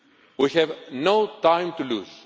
We have no time to lose.